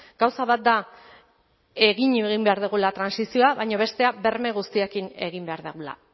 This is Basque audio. gauza bat da egin egin behar dugula trantsizioa baina bestea berme guztiekin egin behar dugula